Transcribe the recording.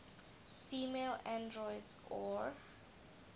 female androids or